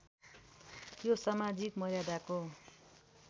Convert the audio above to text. जो समाजिक मर्यादाको